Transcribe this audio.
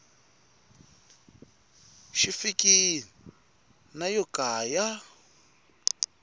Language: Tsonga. fikixini na yo ka ya